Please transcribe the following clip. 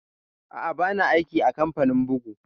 Aa, ba na aiki a kamfanin bugu